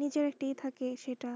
নিজের একটা ই থাকে সেটা,